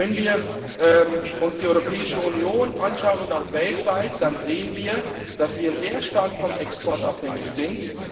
Und wenn wir uns die Europäische Union anschauen und auch weltweit, dann sehen wir, dass wir sehr stark vom Export abhängig sind.